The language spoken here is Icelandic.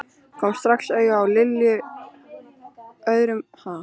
Kom strax auga á Lilju á öðrum bekk fyrir miðju.